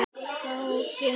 Þá gangi allt betur.